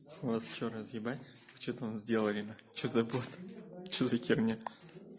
вас что разъебать что там сделали что за бот что за херня